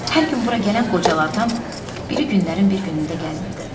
Hər gün bura gələn qocalardan biri günlərin bir günündə gəlmirdi.